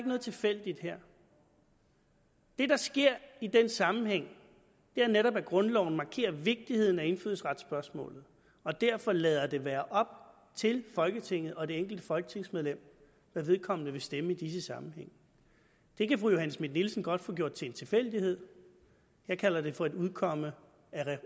noget tilfældigt her det der sker i den sammenhæng er netop at grundloven markerer vigtigheden af indfødsretsspørgsmålet og derfor lader det være op til folketinget og det enkelte folketingsmedlem hvad vedkommende vil stemme i disse sammenhænge det kan fru johanne schmidt nielsen godt få gjort til en tilfældighed jeg kalder det for et udkomme